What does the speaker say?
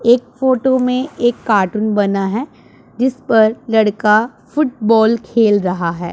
एक फोटो में एक कार्टून बना है जिस पर लड़का फुटबॉल खेल रहा है।